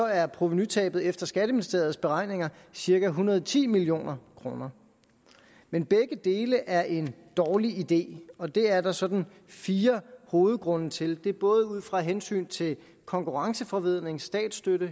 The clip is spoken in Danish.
er provenutabet efter skatteministeriets beregninger cirka en hundrede og ti million kroner men begge dele er en dårlig idé og det er der sådan fire hovedgrunde til det er både ud fra hensynet til konkurrenceforvridning statsstøtte